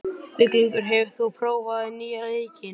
Víglundur, hefur þú prófað nýja leikinn?